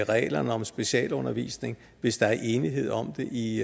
reglerne om specialundervisning hvis der er enighed om det i